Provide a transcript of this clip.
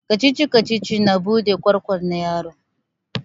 Kacici-kacici na bude kwakwalwar yaro